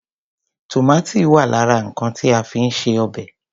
Tòmátì wà lára nǹkan ti a fi ń ṣe obẹ̀.